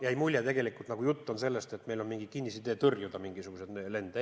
Jäi mulje, nagu jutt oleks sellest, et meil on mingi kinnisidee teatud lende tõrjuda.